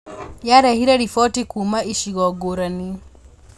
Yarehire riboti kuuma icigo ngũrani